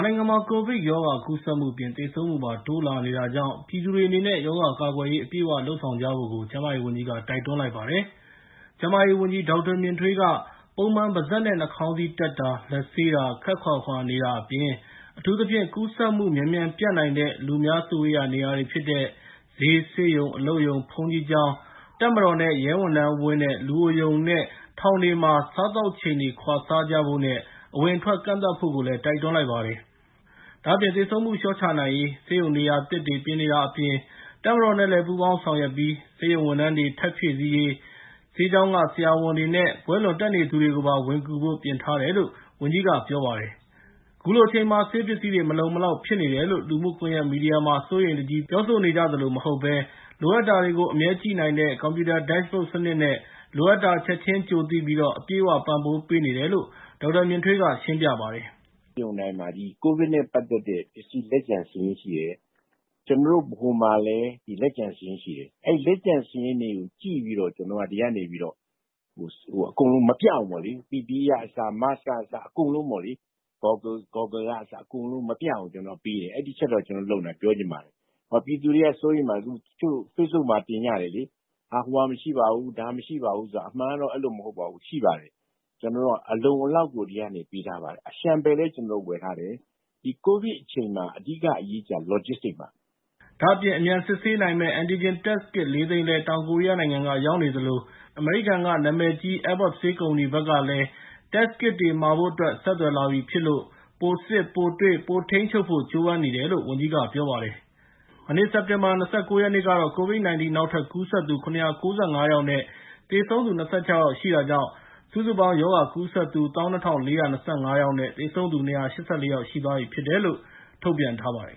နိုင်ငံမှာ ကိုဗစ်ရောဂါကူးစက်မှုအပြင် သေဆုံးမူပါ တိုးလာနေတာကြောင့် ပြည်သူတွေအနေနဲ့ ရောဂါကာကွယ်ရေးအပြည့်အဝလုပ်ကြဖို့ ကျန်းမာရေးဝန်ကြီးက တိုက်တွန်းလိုက်ပါတယ်။ ကျန်းမာရေးဝန်ကြီး ဒေါက်တာမြင်ထွေးက ပုံမှန် ပါးစပ်နဲ့နှာခေါင်းစည်းတပ်၊ လက်ဆေး၊ ခပ်ခွာခွာနေတာအပြင်၊ အထူးသဖြင့် ကူးစက်မူမြန်မြန်ပျံ့နိုင်တဲ့ လူအများစုဝေးရာနေရာ ဈေး၊ ဆေးရုံ၊ အလုပ်ရုံ၊ ဘုန်းကြီးကျောင်း၊ တပ်မတော်နဲ့ရဲဝန်ထမ်းဝင်းနဲ့ လူအိုရုံနဲ့ ထောင်တွေမှာ စားသောက်ချိန်တွေ ခွာစားကြဖို့နဲ့ အဝင်အထွက်ကန့်သတ်ဖို့ တိုက်တွန်းလိုက်ပါတယ်။ ဒါ့အပြင် သေဆုံးမူလျော့ချနိုင်ရေး၊ ဆေးရုံနေရာသစ်တွေပြင်နေတာအပြင်၊ တပ်မတော်နဲ့လည်း ပူးပေါင်းဆောင်ရွက်ပြီး၊ ဆေးရုံဝန်ထမ်းတွေထပ်ဖြည့်ဆည်းရေး၊ ဆေးကျောင်းက ဆရာတွေနဲ့ ဘွဲ့လွန်တက်နေသူတွေပါ ဝင်ကူဖို့ပြင်ထားတယ်လို့ ဝန်ကြီးက ဆိုပါတယ်။ခုလိုအချိန်မှာ ဆေးပစ္စည်းတွေ မလုံမလောက်ဖြစ်နေတယ်လို့ လူမူကွန်ယက်မီဒီယာမှာ စိုးရိမ်တကြီး ပြောဆိုနေကြသလို မဟုတ်ပဲ၊ လိုအပ်တာကို အမြဲကြည့်နိုင်တဲ့ ကွန်ပြူတာ DashBoard စနစ်နဲ့ လိုအပ်တာချက်ချင်းကြိုသိပြီး အပြည့်အဝ ပံ့ပိုးပေးနေတယ်လို့ ဒေါက်တာမြင့်ထွေးက ရှင်းပြပါတယ်။ “ COVID နဲ့ ပတ်သက်တဲ့ ပစ္စည်းလက်ကျန်ဆိုရင် ကျနော်တို့ ဗဟိုမှာလည်း လက်ကျန်စာရင်းရှိတယ်။ အဲဒီလက်ကျန်စာရင်းတွေကို ကြည့်ပြီးတော့ ကျနော်တို့ ဒီကနေပြီးတော့ အကုန်လုံး မပြတ်အောင်ပေါ့လေ PPE ကအစ Mask ကအစ အကုန်လုံး မပြတ်အောင် ကျနော်တို့ပေးတယ်။ အဲဒီအချက်တော့ ကျနော်တို့ လုပ်နေတာ ပြောချင်ပါတယ်။ ပြည်သူတွေက စိုးရိမ်တယ် တချို့ Facebook မှာတင်ကြတယ်လေ။ ဟိုဟာမရှိပါဘူး ဒီဟာမရှိပါဘူး ဆိုတာ အမှန်ကတော့ အဲလိုမဟုတ်ပါဘူး ရှိပါတယ် ကျနေ်ာတို့က အလုံအလောက်ကို ဒီကနေ ပေးထားပါတယ်။ အလျှံပယ်လည်း ကျနော်တို့ ဝယ်ထားတယ်။ ဒီ COVID အချိန်မှာ အဓိက အရေးကြီးတာက logistic ပါ။” ဒါ့အပြင် အမြန်စစ်ဆေးနိုင်မယ့် Antigen Test Kit ၄ သိန်းလည်း တောင်ကိုရီယားကနေ ရောက်နေသလို၊ နောက် အမေရိကန်နာမည်ကြီး Abbott ဆေးကုမ္ပဏီကဘက်ကလည်း Test Kit တွေမှာဖို့အတွက် ဆက်သွယ်လာပြီဖြစ်လို့ ၊ ပိုစစ်၊ ပိုတွေ့၊ ပိုထိန်းချုပ်ဖို့ကြိုးပမ်းနေတယ်လို့ ဝန်ကြီးကပြောပါတယ်။ မနေ့ စက်တင်ဘာ ၂၉ ရက်နေ့ကတော့ ကိုဗစ် ၁၉ နောက်ထပ်ကူးစက်သူ ၇၉၅ ယောက်နဲ့ သေဆုံးသူ ၂၈ ယောက်ရှိတာကြောင့် စုစုပေါင်း ရောဂါကူးစက်သူ ၁၂၄၂၅ ယောက် နဲ့ သေဆုံးသူ ၂၈၄ ယောက်ရှိသွားပြီဖြစ်တယ်လို့ ထုတ်ပြန်ထားပါတယ်